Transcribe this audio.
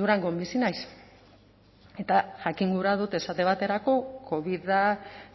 durangon bizi naiz eta jakin gura dut esate baterako covida